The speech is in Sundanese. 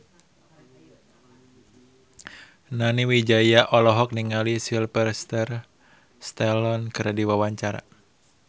Nani Wijaya olohok ningali Sylvester Stallone keur diwawancara